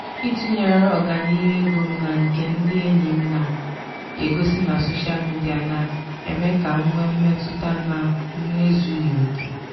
ịtụnyere ọganihu ego m na nke ndị enyi m na-egosi na soshal midia na-eme ka m nwee mmetụta na m ezughị oke.